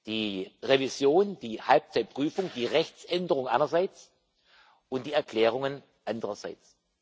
Die Revision, die Halbzeitüberprüfung, die Rechtsänderung einerseits und die Erklärungen andererseits.